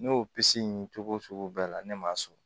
Ne y'o in cogo sugu bɛɛ la ne m'a sɔrɔ